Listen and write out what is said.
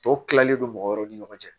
Tɔ kilalen don mɔgɔ wɛrɛw ni ɲɔgɔn cɛ